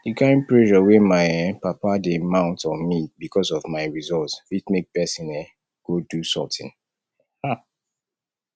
the kyn pressure wey my um papa dey mount on me because of my results fit make person um go do sorting um